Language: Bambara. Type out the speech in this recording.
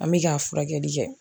An mi ka furakɛli kɛ